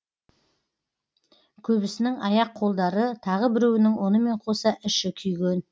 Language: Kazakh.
көбісінің аяқ қолдары тағы біреуінің онымен қоса іші күйген